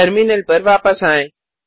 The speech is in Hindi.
टर्मिनल पर वापस आएँ